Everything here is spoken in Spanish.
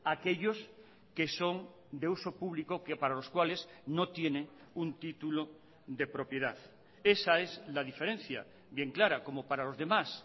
aquellos que son de uso público que para los cuales no tiene un título de propiedad esa es la diferencia bien clara como para los demás